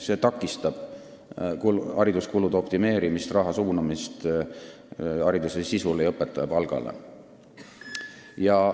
See takistab hariduskulude optimeerimist, raha suunamist hariduse sisu ja õpetaja palga parandamiseks.